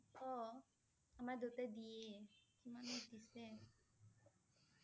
অ' আমাৰ দেউতাই দিয়েই। কিমানক দিছে